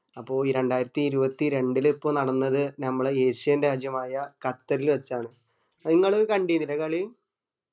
അപ്പൊ ഈ രണ്ടായിരത്തി ഇരുപത്തി രണ്ടില് ഇപ്പൊ നടന്നത് നമ്മടെ ഏഷ്യൻ രാജ്യമായ ഖത്തറില് വച്ചാണ് അത് ഇങ്ങള് കണ്ടീർന്നില്ലേ കളി